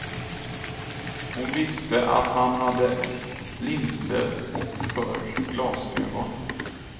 Hon visste att han hade linser, och förr glasögon.